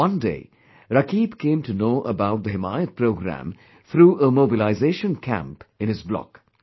One day, Rakib came to know about the 'Himayat Programme' through a mobilisation camp in his block